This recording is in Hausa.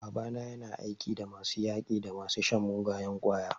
Babana yana aiki da masu yaƙi da masu shan mugayen ƙwaya.